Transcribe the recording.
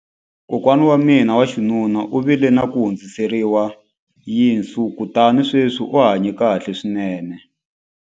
Kokwana wa mina wa xinuna u vile na ku hundziseriwa yinsu kutani sweswi u hanye kahle swinene.